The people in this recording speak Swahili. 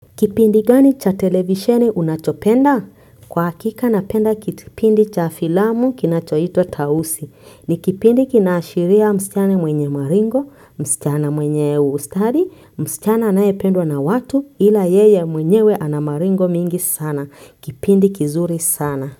Kipindi gani cha televisheni unachopenda? Kwa hakika napenda kipindi cha filamu kinachoitwa tausi. Ni kipindi kinaashiria msichana mwenye maringo, msichana mwenye ustadi, msichana anayependwa na watu ila yeye mwenyewe ana maringo mingi sana. Kipindi kizuri sana.